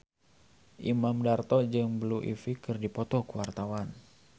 Imam Darto jeung Blue Ivy keur dipoto ku wartawan